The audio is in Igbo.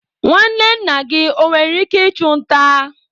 nwanne nna gị nwere ike ịchụ nta?